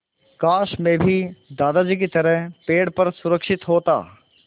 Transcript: काश मैं भी दादाजी की तरह पेड़ पर सुरक्षित होता